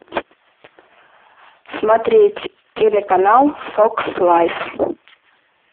смотреть телеканал фокс лайф